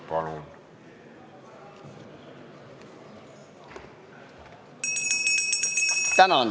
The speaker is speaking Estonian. Palun!